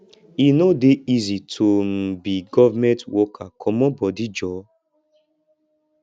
e no dey easy to um be government worker comot bodi joor